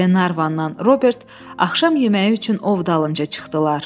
Glenarvanla Robert axşam yeməyi üçün ov dalınca çıxdılar.